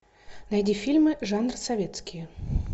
найди фильмы жанр советские